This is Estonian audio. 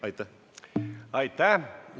Aitäh!